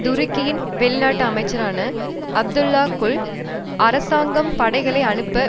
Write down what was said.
துருக்கியின் வெளிநாட்டு அமைச்சரான அப்துல்லா குல் அரசாங்கம் படைகளை அனுப்ப